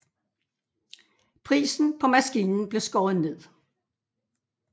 Prisen på maskinen blev skåret ned